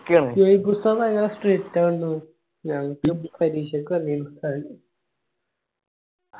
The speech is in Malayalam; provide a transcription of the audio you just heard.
ശുഐബ് ഉസ്താദ് ആൾ strict ആണല്ലോ ഞങ്ങക്ക് പരീക്ഷക്ക് വന്നിരുന്നു ഉസ്താദ്.